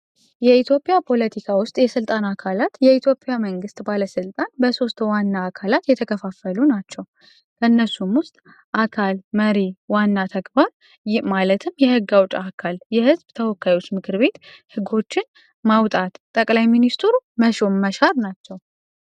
የኢትዮጵያ ፖለቲካ ውስጥ የሥልጣን አካላት የኢትዮፒያ መንግሥት ባለሥልጣን በሦስት ዋና አካላት የተከፋፈሉ ናቸው ከእነሱም ውስጥ አካል መሬ ዋና ተግባር ማለትም የሕጋውጫ አካል የህዝብ ተወካዮች ምክር ቤት ሕጎችን ማውጣት ጠቅላይ ሚኒስቱሩ መሾን መሻር ናቸው፡፡